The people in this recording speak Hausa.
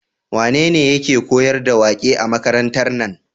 Wane yake koyar da waƙe a makarantar nan?